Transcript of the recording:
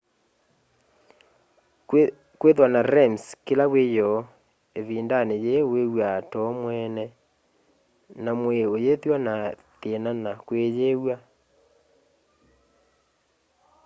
kwithwa na rems kila wiyoo ivindani yii wiw'aa too mweene na mwii uyithwa na thina na kwiyiw'a